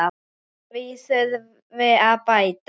Úr því þurfi að bæta.